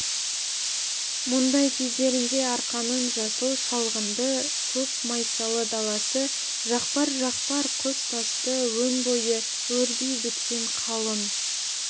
мұндай кездерінде арқаның жасыл шалғынды көк майсалы даласы жақпар-жақпар құз тасты өн бойы өрби біткен қалың